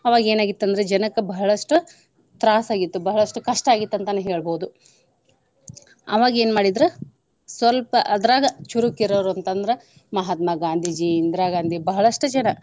ಅವಾಗ ಏನ ಆಗಿತ್ತ ಅಂದ್ರ ಜನಕ್ಕ ಬಹಳಷ್ಟು ತ್ರಾಸ ಆಗಿತ್ತು ಬಹಳಷ್ಟು ಕಷ್ಟ ಆಗಿತ್ತ ಅಂತಾನು ಹೇಳ್ಬಹುದು. ಅವಾಗ್ ಏನ್ ಮಾಡಿದ್ರು ಸ್ವಲ್ಪ ಅದ್ರಾಗ ಚುರುಕ್ ಇರೋವ್ರ ಅಂತಂದ್ರ ಮಹಾತ್ಮ ಗಾಂಧೀಜಿ, ಇಂದ್ರಾ ಗಾಂಧಿ ಬಹಳಷ್ಟು ಜನ.